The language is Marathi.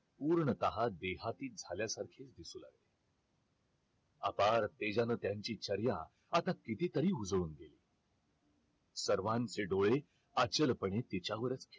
पूर्णतः देहाती झाल्यासारखे दिसू लागले अपार तेजान त्यांची चर्या आता किती तरी उजळून गेली होती सर्वांचे डोळे अचल पणे त्यांच्यावरच होते